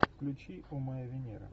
включи о моя венера